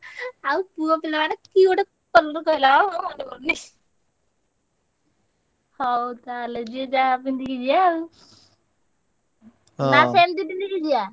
ଆଉ ପୁଅପିଲା ମାନେ କି ଗୋଟେ colour କହିଲା ବା ମୋ ମନେ ପଡ଼ୁନି। ହଉ ତାହେଲେ ଯିଏ ଯାହା ପିନ୍ଧିକି ଯିବା ଆଉ। ନା ସେମତି ପିନ୍ଧିକି ଯିବା?